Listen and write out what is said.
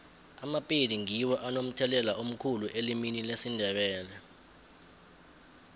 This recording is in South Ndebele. amapedi ngiwo anomthelela omkhulu elimini lesindebele